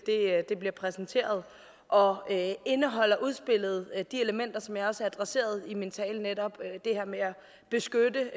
bliver præsenteret og indeholder udspillet de elementer som jeg også adresserede i min tale netop det her med at beskytte